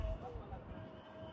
Allah lənət eləsin.